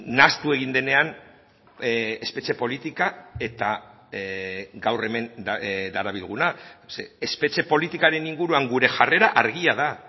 nahastu egin denean espetxe politika eta gaur hemen darabilguna ze espetxe politikaren inguruan gure jarrera argia da